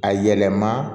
A yɛlɛma